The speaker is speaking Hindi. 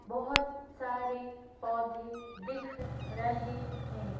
बोहोत सारे पौधे दिख रहे हैं।